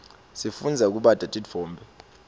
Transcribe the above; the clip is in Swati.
sifundza kubata titfombe